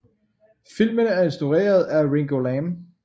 Filmen er instrueret af Ringo Lam